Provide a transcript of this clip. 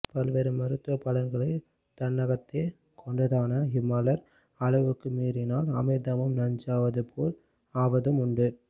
பல்வேறு மருத்துவபலன்களை தன்னகத்தே கொண்டதான இம்மலர் அளவுக்கு மீறினால் அமிர்தமும் நஞ்சாவதுபோல் ஆவதும் உண்டு